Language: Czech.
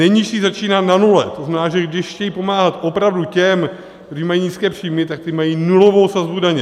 Nejnižší začíná na nule, to znamená, že když chtějí pomáhat opravdu těm, kteří mají nízké příjmy, tak ti mají nulovou sazbu daně.